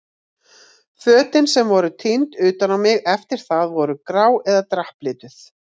Fötin sem voru tínd utan á mig eftir það voru grá eða drapplituð.